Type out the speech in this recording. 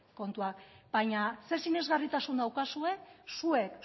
kontuak baina zer sinesgarritasun daukazue zuek